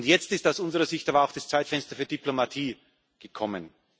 Jetzt ist aus unserer Sicht aber auch das Zeitfenster für Diplomatie gekommen.